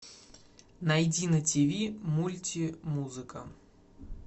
найди на ти ви мультимузыка